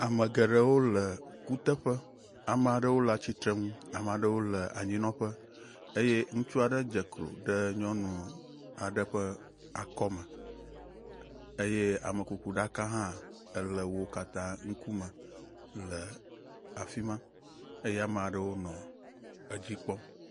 Ame geɖewo le kuteƒe, ame aɖewo le atsitre nu ame aɖewo le anyinɔƒe eye ŋutsu aɖe dze klo ɖe nyɔnu aɖe ƒe akɔme eye amekukuɖaka hã le wo katã wo ŋkume le afima eye ame aɖewo nɔ edzi kpɔm.